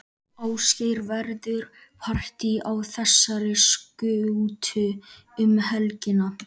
Ásgeir, verður partý á þessari skútu um helgina?